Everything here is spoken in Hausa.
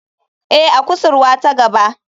Ee, a kusurwa ta gaba.